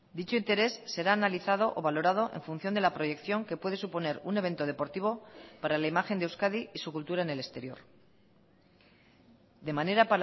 dicho interés será analizado o valorado en función de la proyección que puede suponer un evento deportivo para la imagen de euskadi y su cultura en el exterior de manera